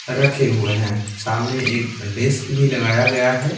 रखे हुए हैं सामने एक डिस्क भी लगाया गया है।